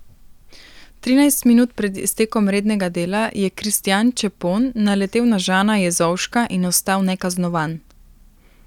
Trinajst minut pred iztekom rednega dela je Kristjan Čepon naletel na Žana Jezovška in ostal nekaznovan.